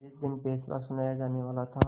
जिस दिन फैसला सुनाया जानेवाला था